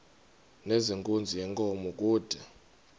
nezenkunzi yenkomo kude